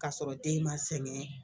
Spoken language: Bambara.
K'a sɔrɔ den ma sɛgɛn